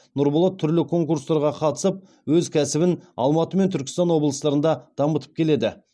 нұрболат түрлі конкурстарға қатысып өз кәсібін алматы мен түркістан облыстарында дамытып келеді